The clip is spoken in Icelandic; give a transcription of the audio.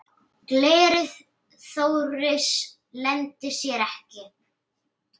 Gleði Þóris leyndi sér ekki.